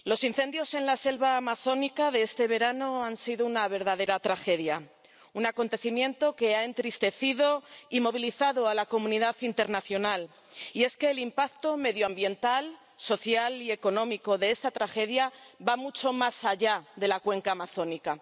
Señor presidente, señor comisario, los incendios en la selva amazónica de este verano han sido una verdadera tragedia, un acontecimiento que ha entristecido y movilizado a la comunidad internacional. Y es que el impacto medioambiental, social y económico de esta tragedia va mucho más allá de la cuenca amazónica.